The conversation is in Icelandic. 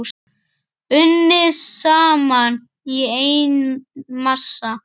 Unnið saman í einn massa.